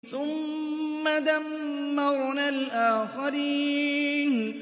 ثُمَّ دَمَّرْنَا الْآخَرِينَ